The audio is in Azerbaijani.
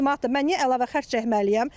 Mən niyə əlavə xərc çəkməliyəm?